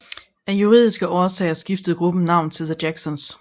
Af juridiske årsager skiftede gruppen navn til The Jacksons